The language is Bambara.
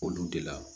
Olu de la